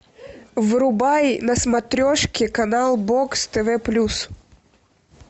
врубай на смотрешке канал бокс тв плюс